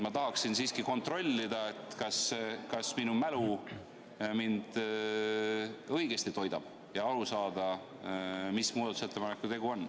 Ma tahaksin siiski kontrollida, kas minu mälu õigesti töötab, ja aru saada, mis muudatusettepanekuga tegu on.